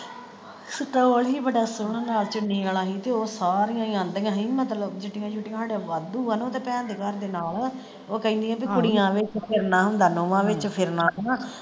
Stoll ਸੀ ਨਾਲ ਬੜਾ ਸੋਹਣਾ ਚੁੰਨੀ ਵਾਲਾ ਹੀ ਤੇ ਉਹ ਸਾਰੀਆਂ ਹੀ ਆਂਦੀਆਂ ਸੀ ਬੀ ਮਤਲਬ ਜੱਟੀਆਂ ਜੁੱਟੀਆਂ ਵਾਧੂ ਆ ਨਾ ਓਹਦੇ ਭੈਣ ਦੇ ਘਰ ਦੇ ਨਾਲ ਉਹ ਕਹਿੰਦਿਆਂ ਬੀ ਕੁੜੀਆਂ ਵਿਚ ਫਿਰਨਾ ਹੁੰਦਾ ਨੋਹਾਂ ਵਿਚ ਫਿਰਨਾ ਹੁੰਦਾ।